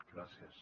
gràcies